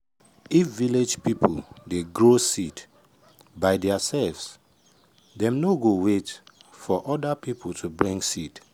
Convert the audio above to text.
if village people dey grow seed by theirselves dem no go no go wait for other people to bring seed.